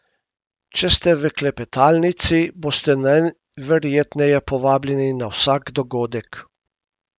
Če ste v klepetalnici, boste najverjetneje povabljeni na vsak dogodek.